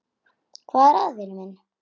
Hvað er að, vinur minn?